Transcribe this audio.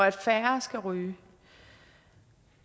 at færre skal ryge